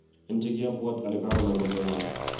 "En che kiabuat ale kagonam kocheng'an,"